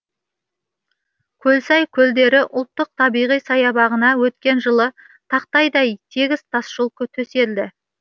көлсай көлдері ұлттық табиғи саябағына өткен жылы тақтайдай тегіс тасжол төселді